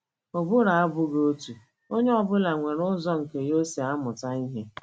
Ụbụrụ abụghị otu; onye ọ bụla nwere ụzọ nke ya o si amụta ihe.